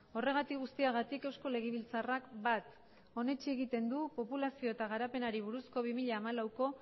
horregatik guztiagatik eusko legebiltzarrak bat onetsi egiten du populazio eta garapenari buruzko bi mila laueko